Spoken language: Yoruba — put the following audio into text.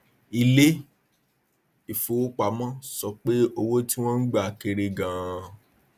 ilé ìfowópamọ sọ pé owó tí wón gba kéré ganan